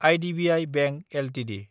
IDBI bank Ltd